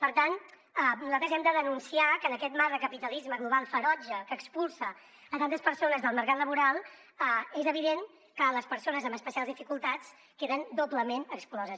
per tant nosaltres hem de denunciar que en aquest marc de capitalisme global ferotge que expulsa tantes persones del mercat laboral és evident que les persones amb especials dificultats queden doblement excloses